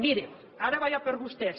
miri ara vaig per vostès